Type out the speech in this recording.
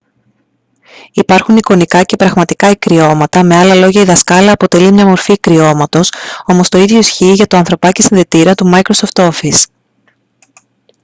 υπάρχουν εικονικά και πραγματικά ικριώματα με άλλα λόγια η δασκάλα αποτελεί μια μορφή ικριώματος όμως το ίδιο ισχύει για το ανθρωπάκι-συνδετήρα του microsoft office